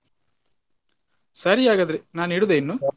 ಸರಿ ಹಾಗಾದ್ರೆ ನಾನು ಇಡುದಾ ಇನ್ನು.